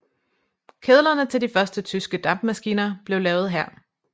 Kedlerne til de første tyske dampmaskiner blev lavet her